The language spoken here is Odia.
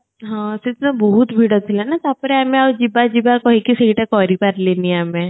ହଁ ସେ ଦିନ ବହୁତ ଭିଡ ଥିଲା ନା ତାପରେ ଆମେ ଆଉ ଯିବା ଯିବା କହିକି ସେଇଟା କରି ପାରଲିନି ଆମେ